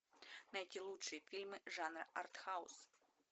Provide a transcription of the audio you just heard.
найти лучшие фильмы жанра артхаус